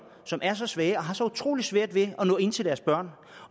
som er så svage og har så utrolig svært ved at nå ind til deres børn